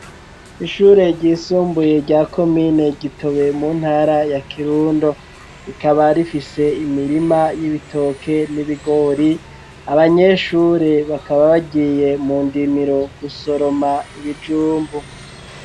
Ishure ryisumbuye rya komine Gitobe mu ntara ya Kirundo rikaba rifise imirima y'ibitoke n'ibigori abanyeshure bakaba bagiye mu ndimiro gusoroma ibijumbu.